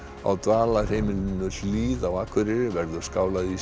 á Dvalarheimilinu Hlíð á Akureyri verður skálað í